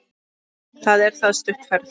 Það er það stutt ferð.